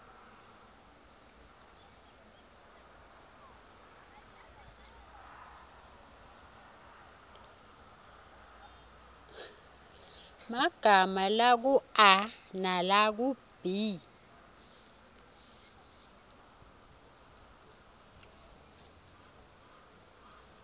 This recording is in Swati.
emagama lakua nalakub